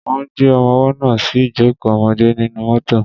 Wọ́n gbé ọmọwọ́ náà sí ìjókò ọmọdé nínú mọ́tọ̀.